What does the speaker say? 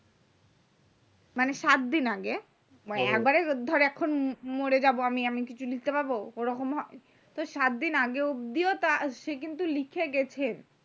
মানে সাত দিন আগে average ধরে এখন মরে যাবো আমি আমি কিছু লিখতে পারবো ঐরকম সাত দিন আগে অব্দিও সে কিন্তু লিখে গেছে